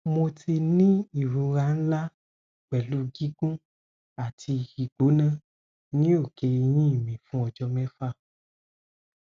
mo ti ni irora nla pelu gigun ati igbona ni oke eyin mi fun ojo mefa